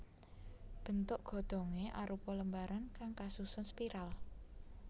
Bentuk godhongé arupa lembaran kang kasusun spiral